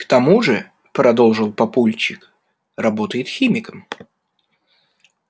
к тому же продолжил папульчик работает химиком